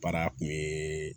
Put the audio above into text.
Baara kun ye